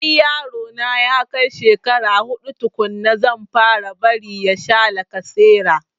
Sai yaro na ya kai shekara huɗu tukunna zan fara bari ya sha lacasera